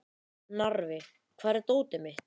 Narfi, hvar er dótið mitt?